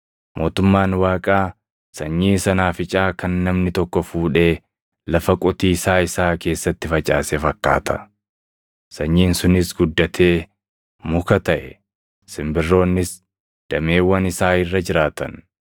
Mootummaan Waaqaa sanyii sanaaficaa kan namni tokko fuudhee lafa qotiisaa isaa keessatti facaase fakkaata. Sanyiin sunis guddatee muka taʼe; simbirroonnis dameewwan isaa irra jiraatan.”